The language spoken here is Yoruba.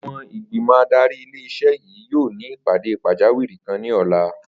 Àwo̩n ìgbìmò̩ adarí ilé is̩é̩ yìí yóò ní ìpàdé pàjáwìrì kan ní ò̩la